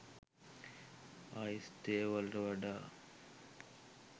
ice තේ වලට වඩා